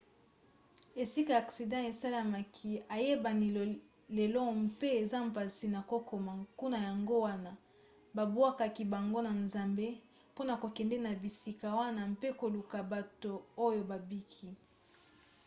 esika aksida esalemaki eyebani lelo mpe eza mpasi na kokoma kuna yango wana babwakaki bango na zamba mpona kokende na bisika wana mpe koluka bato oyo babiki